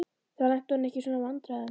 Þá lenti hún ekki í svona vandræðum.